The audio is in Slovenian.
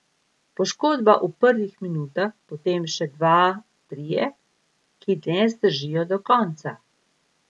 Poškodba v prvih minutah, potem še dva, trije, ki ne zdržijo do konca.